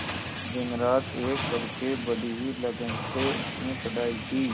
दिनरात एक करके बड़ी ही लगन से उसने पढ़ाई की